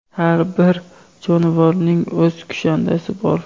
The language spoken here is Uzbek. Har bir jonivorning o‘z kushandasi bor.